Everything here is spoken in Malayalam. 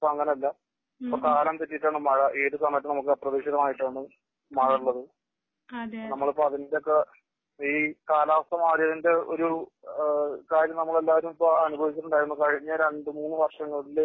പക്ഷേ ഇപ്പോ അങ്ങനെ അല്ല. ഇപ്പോ കാലം തെറ്റിയിട്ടാണ് മഴ. ഏത് സമയത്തും അപ്രതീക്ഷിതമായിട്ടാണ് മഴ ഉള്ളത്. നമ്മളിപ്പോ അതിന്റെ ഒക്കെ ഈ കാലാവസ്ഥ മാറിയതിന്റെ ഒരു കാര്യം നമ്മൾ എല്ലാവരും ഇപ്പോ അനുഭവിച്ചിട്ടുണ്ടായിരുന്നു. കഴിഞ്ഞ രണ്ടു മൂന്നു വര്ഷങ്ങളില്